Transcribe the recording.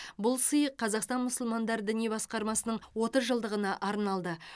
бұл сый қазақстан мұсылмандар діни басқармасының отыз жылдығына арналды